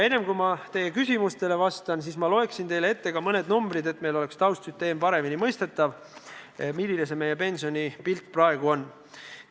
Enne, kui ma teie küsimustele vastan, loeksin ma ette mõned numbrid, et taustsüsteem – see, milline meie pensionipilt praegu on – oleks paremini mõistetav.